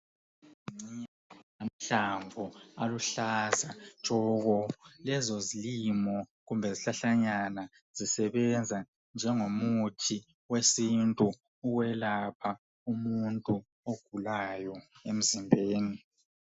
Amahlamvu aluhlaza tshoko lezo zilimo kumbe zihlahlanyana zisebenza njengomuthi wesintu ukwelapha umuntu ogulayo emzimbeni.